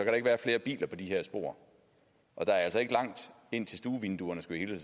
der ikke være flere biler på de her spor og der er altså ikke langt ind til stuevinduerne skulle jeg